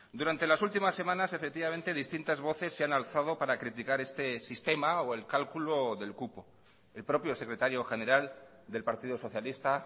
durante las últimas semanas efectivamente distintas voces se han alzado para criticar este sistema o el cálculo del cupo el propio secretario general del partido socialista